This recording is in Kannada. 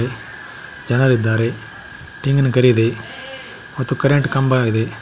ಜನರಿದ್ದಾರೆ ತೆಂಗಿನ ಗರಿ ಇದೆ ಮತ್ತು ಕರೆಂಟ್ ಕಂಬ ಇದೆ.